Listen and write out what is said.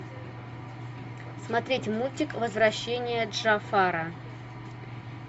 смотреть мультик возвращение джафара